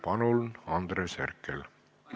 Palun, Andres Herkel!